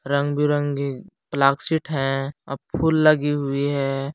रंग बिरंगी प्लाक्सित हैं अ फुल लगी हुई है।